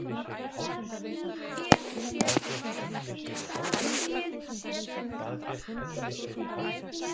Hefði ég ekki orðið þeirrar líknar aðnjótandi sem skriftir mínar fyrir